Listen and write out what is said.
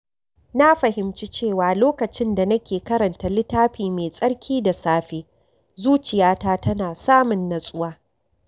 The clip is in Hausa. Na fahimci cewa lokacin da nake karanta littafi mai tsarki da safe, zuciyata tana samun natsuwa.